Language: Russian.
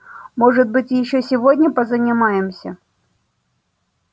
может быть ещё сегодня позанимаемся